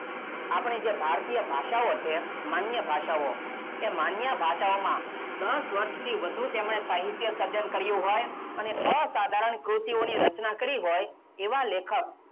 આપણી જે ભારતીય ભાષાઓ છે માન્ય ભાષાઓ એ માન્ય ભાષાઓમાં દસ વર્ષથી વધું તેમણે સાહિત્ય સર્જન કર્યું હોય અને અસાધારણ ક્રુતિઓની રચના કરી હોય એવાં લેખક,